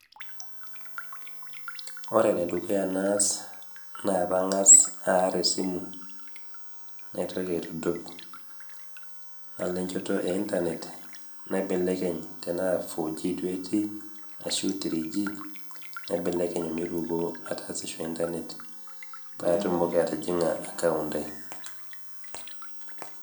ore enedukuya naas pangás arr esimu naitoki ainok nalo enjoto e internet naibelekeny' enaa 4G duo etii ashu 3G naibelekeny' omiruko internet patumoki atijingá account ai